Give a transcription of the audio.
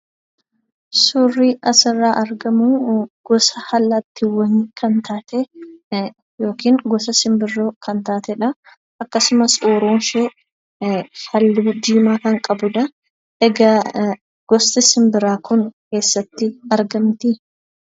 Suurri asirraa argamu gosa allaattiiwwanii kan taate yookiin gosa simbirroo kan taateedha. Akkasumas uuruun ishee halluu diimaa kan qabuudha. Egaa gosti simbiraa kun eessatti argamtii?